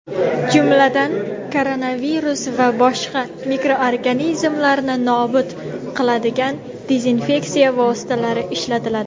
jumladan koronavirus va boshqa mikroorganizmlarni nobud qiladigan dezinfeksiya vositalari ishlatiladi.